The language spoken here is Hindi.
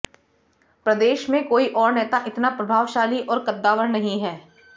प्रदेश में कोई और नेता इतना प्रभावशाली और कद्दावर नहीं है